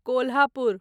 Kolhapur